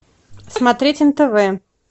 смотреть нтв